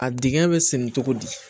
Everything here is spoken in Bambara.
A dingɛ bɛ sɛnɛ cogo di